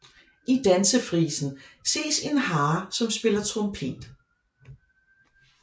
I Dansefrisen ses en hare som spiller trompet